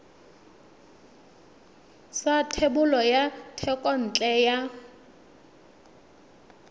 sa thebolo ya thekontle ya